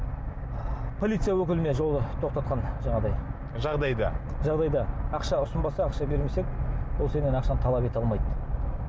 полиция өкіліне жолда тоқтатқан жаңағыдай жағдайда жағдайда ақша ұсынбаса ақша бермесе ол сенен ақшаны талап ете алмайды